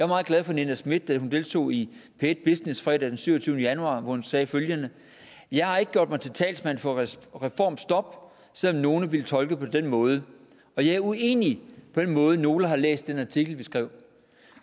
meget glad for nina smith da hun deltog i p1 business fredag den syvogtyvende januar hvor hun sagde følgende jeg har ikke gjort mig til talsmand for reformstop selv om nogle ville tolke det på den måde og jeg er uenig i den måde nogle har læst den artikel vi skrev